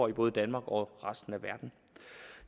i både danmark og resten af verden